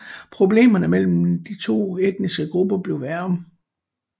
Problemerne mellem de to etniske grupper blev værre